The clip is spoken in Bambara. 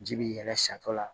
Ji bi yɛlɛ sato la